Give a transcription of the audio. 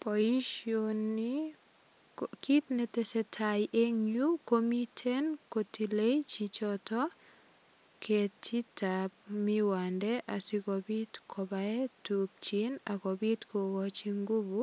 Boisioni, kit netesetai eng yu komiten kotilei choto ketitab miwande asikopit kobae tukchin ak kopit kokochi ngufu